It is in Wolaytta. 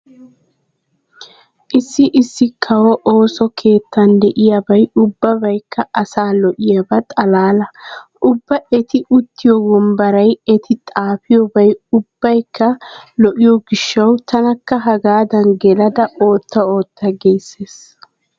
Issi issi kawo ooso keettan diyabay ubbabaykka asaa lo'iyaba xalaala. Ubba eti uttiyo wombbaray eti xaafiyobay ubbaykka lo'iyo gishshawu tanakka hagaadan gelada ootta ootta giissees.